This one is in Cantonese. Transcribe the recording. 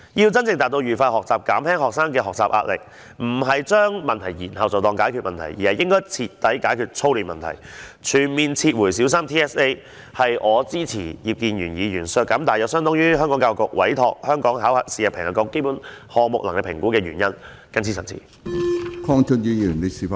要真正達致愉快學習，減輕學生的學習壓力，不是將問題延後便當作解決了問題，而應徹底解決操練問題，全面撤回小三 TSA， 這是我支持葉建源議員削減大約相當於教育局委託香港考試及評核局進行基本能力評估項目的全年預算開支的原因。